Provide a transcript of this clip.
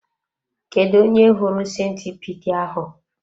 Kedụ onye hụrụ sentipiid ahụ?